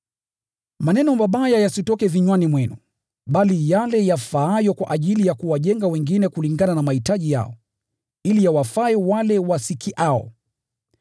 Maneno mabaya yasitoke vinywani mwenu, bali yale yafaayo kwa ajili ya kuwajenga wengine kulingana na mahitaji yao, ili yawafae wale wasikiao.